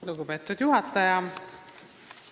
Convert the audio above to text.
Lugupeetud juhataja!